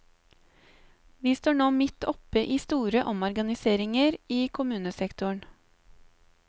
Vi står nå midt oppe i store omorganiseringer i kommunesektoren.